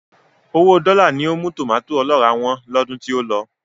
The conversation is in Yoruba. Owóo dọ́là ni ó mú tòmàtó ọlọ́ràá wọ́n lọ́dún tí ó lọ.